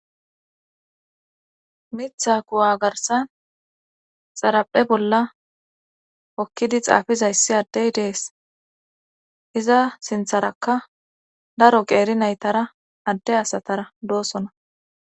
mitha kuwa garsan xaraphe bolla hokkidi xaafizayssi addey dees iza sintharakka daro qeeri naytara adde asatara doosona